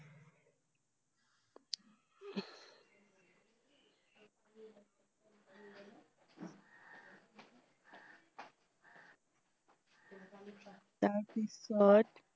তাৰ পিছত